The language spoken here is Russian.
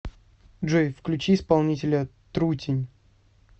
джой включи исполнителя трутень